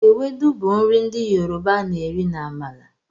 Ewedu bụ nri ndị Yoroba a na-eri na amala.